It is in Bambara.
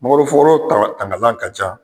tangalan ka ca